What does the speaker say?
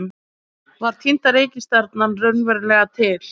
Var týnda reikistjarnan raunverulega til?